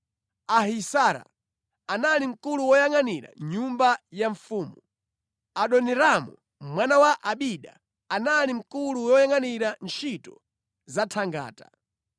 Ahisara, anali mkulu woyangʼanira nyumba ya mfumu; Adoniramu mwana wa Abida, anali mkulu woyangʼanira ntchito za thangata.